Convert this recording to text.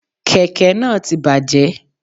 Kèké náà ti bàjé